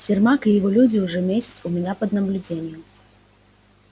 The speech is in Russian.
сермак и его люди уже месяц у меня под наблюдением